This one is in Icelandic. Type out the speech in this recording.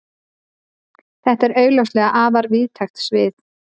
Þetta er augljóslega afar víðtækt svið.